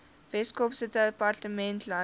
weskaapse departement landbou